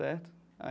Certo?